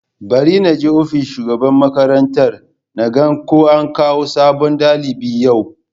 Bari na je ofishin shugaban makarantar, naga an kawo sabon dalibi yau.